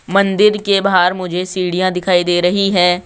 मंदिर के बाहर मुझे सीढ़ियां दिखाई दे रही हैं।